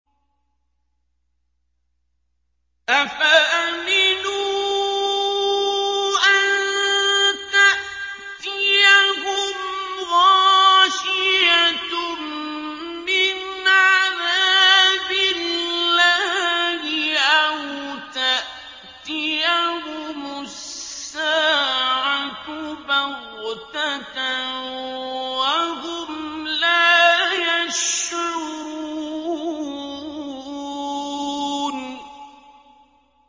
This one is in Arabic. أَفَأَمِنُوا أَن تَأْتِيَهُمْ غَاشِيَةٌ مِّنْ عَذَابِ اللَّهِ أَوْ تَأْتِيَهُمُ السَّاعَةُ بَغْتَةً وَهُمْ لَا يَشْعُرُونَ